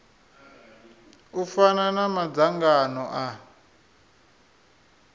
u fana na madzangano a